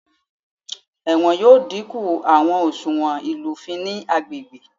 Ẹwọn yoo dinku awọn oṣuwọn ilufin ni agbegbe.